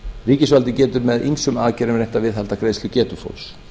ríkisvaldið getur með ýmsum hætti reynt að viðhalda greiðslugetu fólks